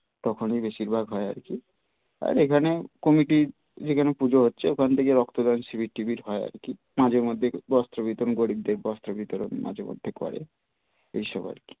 তখনই বেশির ভাগ হয় আরকি আর এখানে কমিটি যেখানে পুজো হচ্ছে ওখান থেকে রক্তদান শিবির টিবির হয় আর কি মাঝে মধ্যে বস্ত্র বিতরণ গরিবদের বস্ত্র বিতরণ করে এইসব আরকি.